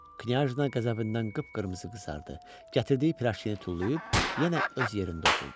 Knyajna qəzəbindən qıpqırmızı qızardı, gətirdiyi pirajkini tullayıb yenə öz yerində oturdu.